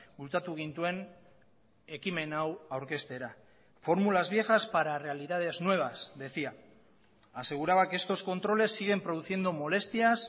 bultzatu gintuen ekimen hau aurkeztera fórmulas viejas para realidades nuevas decía aseguraba que estos controles siguen produciendo molestias